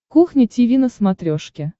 кухня тиви на смотрешке